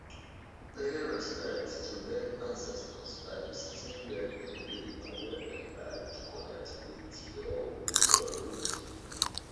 pay respect to dead ancestors by visiting where dem live and where dem die to connect with your with your root